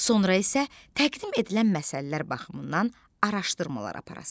Sonra isə təqdim edilən məsəllər baxımından araşdırmalar aparasınız.